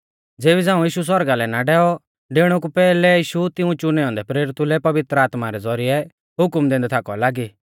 ज़ेबी झ़ांऊ यीशु सौरगा लै ना डैऔ डेउणै कु पैहलै यीशु तिऊं च़ुनै औन्दै प्रेरितु लै पवित्र आत्मा रै ज़ौरिऐ हुकम दैन्दै थाकौ लागी